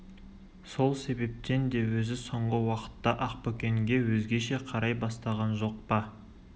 сол себептен де өзі соңғы уақытта ақбөкенге өзгеше қарай бастаған жоқ па